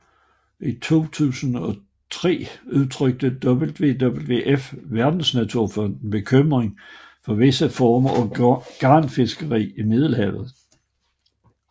I 2003 udtrykte WWF Verdensnaturfonden bekymring for visse former for garnfiskeri i Middelhavet